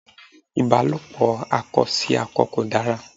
Ìbálòpò akọ sí akọ kò dára.